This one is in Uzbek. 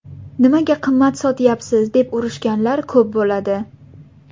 Nimaga qimmat sotyapsiz deb urishganlar ko‘p bo‘ladi.